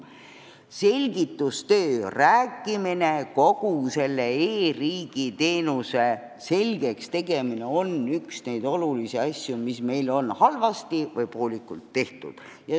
Selgitustöö, rääkimine, kogu selle e-riigi teenuse selgeks tegemine on üks neid olulisi asju, mis on meil halvasti või poolikult tehtud.